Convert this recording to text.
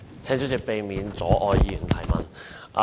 請主席避免阻礙議員提問。